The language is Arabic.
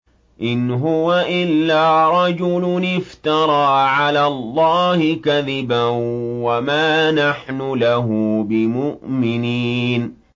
إِنْ هُوَ إِلَّا رَجُلٌ افْتَرَىٰ عَلَى اللَّهِ كَذِبًا وَمَا نَحْنُ لَهُ بِمُؤْمِنِينَ